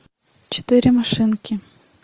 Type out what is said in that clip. четыре машинки